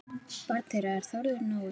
Barn þeirra er Þórður Nói.